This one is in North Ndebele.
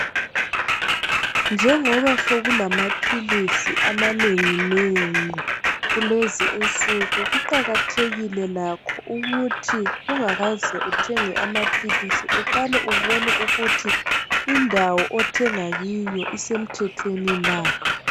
njengoba sekulama philisi amanenginengi kulezi insuku kuqakathekile lakho ukuthi ungakaze uthenge amaphilisi uqale ubone ukuthi indawo othenga kiyo isemthethweni na